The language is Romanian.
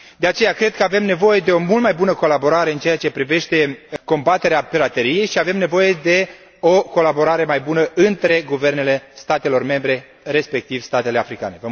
De aceea, cred că avem nevoie de o mult mai bună colaborare în ceea ce privește combaterea pirateriei și avem nevoie de o colaborare mai bună între guvernele statelor membre, respectiv statele africane.